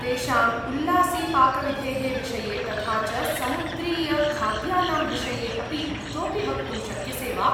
तेषाम् उल्लासीपाकविधेः विषये, तथा च समुद्रीयखाद्यानां विषये अपि इतोपि वक्तुं शक्यसे वा?